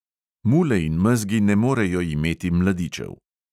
Mule in mezgi ne morejo imeti mladičev.